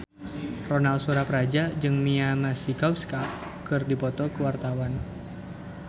Ronal Surapradja jeung Mia Masikowska keur dipoto ku wartawan